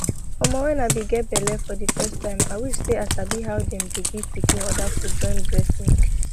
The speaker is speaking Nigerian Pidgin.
omoh when i be get belle for the first time i wish say i sabi how them dey give pikin other food join breast milk